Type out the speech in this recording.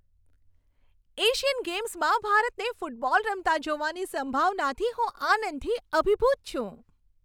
Asian ગેમ્સમાં ભારતને football રમતા જોવાની સંભાવનાથી હું આનંદથી અભિભૂત છું.